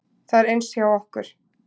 Það er eins hjá okkur.